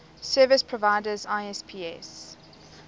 service providers isps